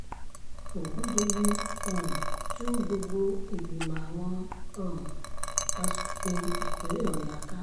ọ̀gùndọ̀yìn um tú gbogbo ìgbìmọ̀ àwọn um asòfin ìpínlẹ̀ ọ̀yọ́ ká